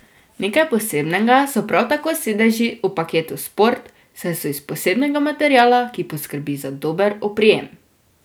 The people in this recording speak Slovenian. Nekaj posebnega so prav tako sedeži v paketu Sport, saj so iz posebnega materiala, ki poskrbi za dober oprijem.